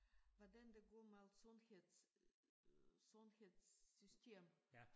Hvordan det går med sundheds sundhedssystemet